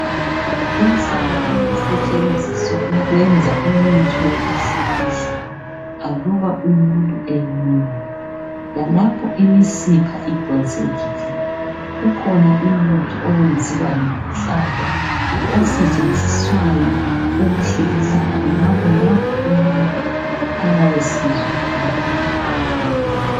inhlaba iyasetshenziswa ukwenza umuthi wokuhlikihla aluba umuntu enyelile lalapho imisipha idonsekile kukhona umuthi ownziwa ngenhlaba osetshenziswayo ukuhlikihla khonapho umuntu ayabe esizwa khona ubuhlungu